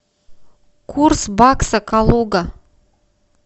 курс бакса калуга